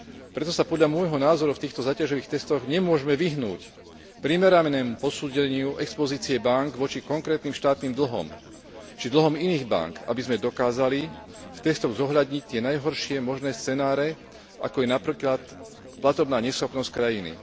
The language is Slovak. Preto sa, podľa môjho názoru, v týchto záťažových testoch nemôžeme vyhnúť primeranému posúdeniu expozície bánk voči konkrétnym štátnym dlhom, či dlhom iných bánk, aby sme dokázali v testoch zohľadniť tie najhoršie možné scenáre, ako je napríklad platobná neschopnosť krajiny.